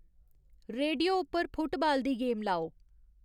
radio उप्पर football दी game लाओ